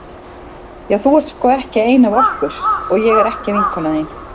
Já þú ert sko ekki ein af okkur og ég er ekki vinkona þín.